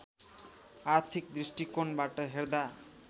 आर्थिक दृष्टिकोणबाट हेर्दा